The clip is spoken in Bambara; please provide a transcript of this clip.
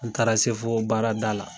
N taara se fɔ baarada la